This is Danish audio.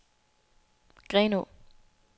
Grenaa